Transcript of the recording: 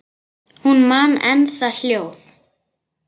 Hún man enn það hljóð.